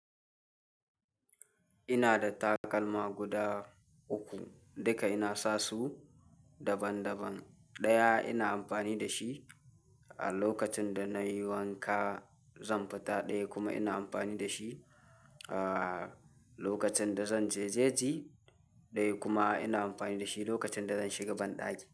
Ina da takalma guda uku, duka ina sa su daban daban. Ɗaya ina amfani da shi a lokacin da nayi wanka, zan fita. Ɗaya kuma ina amfani da shi a lokacin da zanje je ji. Ɗaya kuma ina amfani da shi lokacin da zan shiga banɗaki.